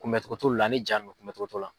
Kunbɛ cogo t'olu la ani ja nunnu kunbɛ cogo t'olu la.